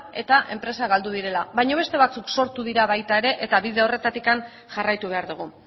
eta enpresak galdu direna baino beste batzuk sortu dira baita ere eta bide horretatik jarraitu behar dugu